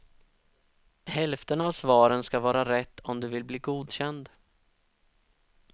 Hälften av svaren ska vara rätt om du vill bli godkänd.